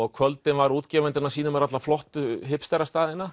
á kvöldin var útgefandinn að sýna mér alla flottu